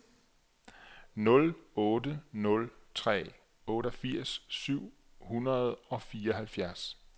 nul otte nul tre otteogfirs syv hundrede og fireoghalvfjerds